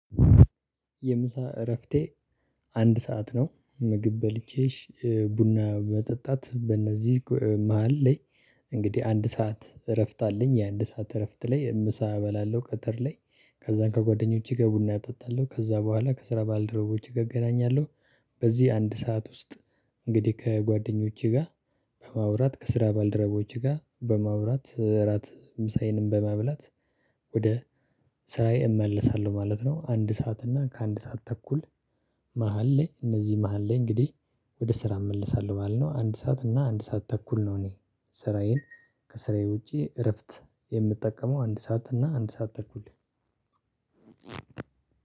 የምሳ እረፍቴ አንድ ሰዓት ነው ምግብ በልቼ ቡና መጠጣት በእነዚህ መሃል ላይ። እንግዲህ አንድ ሰዓት እረፍት አለኝ የአንድ ሰዓት እረፍት ላይ ምሳ እበላለሁ ከትር ላይ። ከዛን ከጓደኞቼ ጋ ቡና አጣጣለሁ ከዛ በኋላ ከስራ ባልደረቦቼ ጋ እገናኛለሁ። በዚህ አንድ ሰዓት ውስጥ እንግዲህ ከጓደኞቼ ጋር በማውራት ከስራ ባልደረቦቼ ጋር በማውራት እራት ምሳዬንም በመብላት። ወደ ስራዬ እመለሳለሁ ማለት ነው። አንድ ሰዓት እና ከአንድ ሰዓት ተኩል። መሃል ላይ እነዚህ መሃል ላይ እንግዲህ ወደ ስራ እመልሳለሁ ባልነው አንድ ሰዓት እና አንድ ሰዓት ተኩል ነው። እኔ ስራዬን ከስራዬ ውጪ እረፍት የምጠቀመው አንድ ሰዓት እና አንድ ሰዓት ተኩል